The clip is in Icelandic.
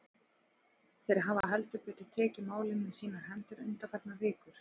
Þeir hafa heldur betur tekið málin í sínar hendur undanfarnar vikur.